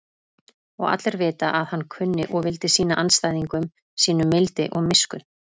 Og allir vita að hann kunni og vildi sýna andstæðingum sínum mildi og miskunn.